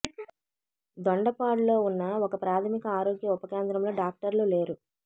దొండపాడులో ఉన్న ఒక ప్రాథమిక ఆరోగ్య ఉప కేంద్రంలో డాక్టర్లు లేరు